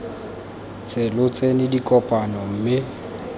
ntse lo tsena dikopano mme